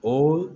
O